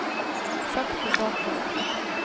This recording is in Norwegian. sakte bakover